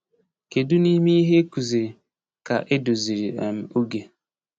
Kedu n’ime ihe e kụziri ka edoziri um oge?